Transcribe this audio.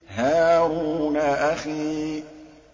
هَارُونَ أَخِي